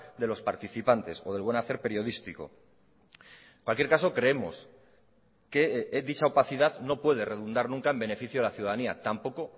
de los participantes o del buen hacer periodístico en cualquier caso creemos que dicha opacidad no puede redundar nunca en beneficio de la ciudadanía tampoco